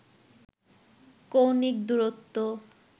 কৌণিক দুরত্ব